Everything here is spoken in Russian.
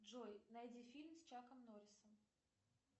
джой найди фильм с чаком норрисом